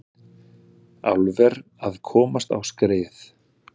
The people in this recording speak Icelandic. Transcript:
Álver að komast á skrið